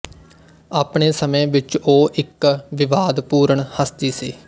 ਆਪਣੇ ਸਮੇਂ ਵਿੱਚ ਉਹ ਇੱਕ ਵਿਵਾਦਪੂਰਨ ਹਸਤੀ ਸੀ